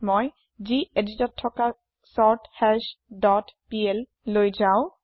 মই geditত থকা চৰ্থাশ ডট plলৈ বদলি হৈ ললো